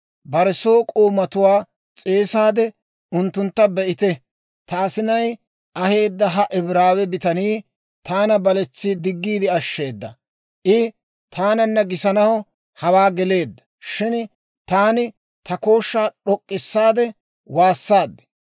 bare soo k'oomatuwaa s'eesaade unttuntta, «Be'ite; ta asinay aheedda ha Ibraawe bitanii taana baletsi diggiide ashsheeda; I taananna gisanaw hawaa geleedda; shin taani ta kooshshaa d'ok'k'issaade waassaad.